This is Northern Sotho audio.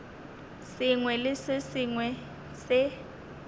sengwe le se sengwe se